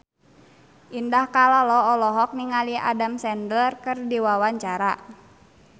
Indah Kalalo olohok ningali Adam Sandler keur diwawancara